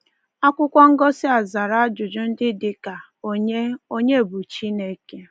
Akwụkwọ ngosị a zara ajụjụ ndị dị ka: Onye Onye bụ Chineke?